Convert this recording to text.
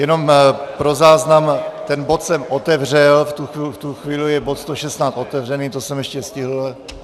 Jenom pro záznam, ten bod jsem otevřel, v tuto chvíli je bod 116 otevřený, to jsem ještě stihl.